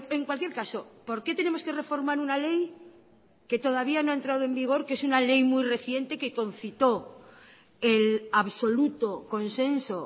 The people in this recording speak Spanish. en cualquier caso por qué tenemos que reformar una ley que todavía no ha entrado en vigor que es una ley muy reciente que concitó el absoluto consenso